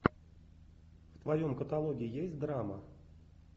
в твоем каталоге есть драма